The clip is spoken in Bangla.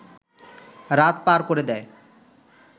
রাত পার করে দেয়